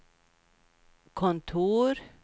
kontor